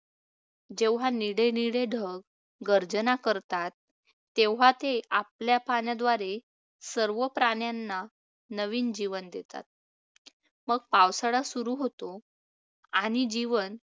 जेव्हा निळे निळे ढग गर्जना करतात तेव्हा ते आपल्या पाण्याद्वारे सर्व प्राण्यांना नवीन जीवन देतात, मग पावसाळा सुरू होतो आणि जीवन